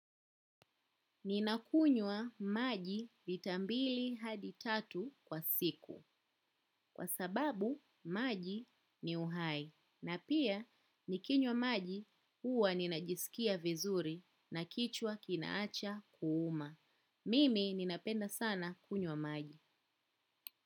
Ninakunywa maji lita mbili hadi tatu kwa siku. Kwa sababu maji ni uhai. Na pia nikinywa maji huwa ninajisikia vizuri na kichwa kinaacha kuuma. Mimi ninapenda sana kunywa maji.